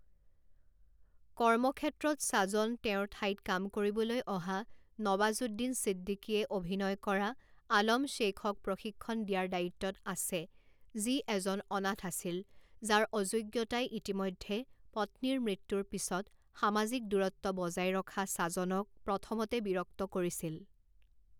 কৰ্মক্ষেত্ৰত ছাজন তেওঁৰ ঠাইত কাম কৰিবলৈ অহা নৱাজুদ্দিন ছিদ্দিকীয়ে অভিনয় কৰা আলম শ্বেইখক প্ৰশিক্ষণ দিয়াৰ দায়িত্বত আছে যি এজন অনাথ আছিল যাৰ অযোগ্যতাই ইতিমধ্যে পত্নীৰ মৃত্যুৰ পিছত সামাজিক দূৰত্ব বজাই ৰখা ছাজনক প্ৰথমতে বিৰক্ত কৰিছিল।